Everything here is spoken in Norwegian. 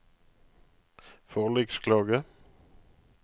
forliksklage